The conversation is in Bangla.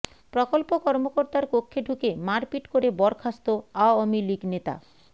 প্রকল্প কর্মকর্তার কক্ষে ঢুকে মারপিট করে বরখাস্ত আওয়ামী লীগ নেতা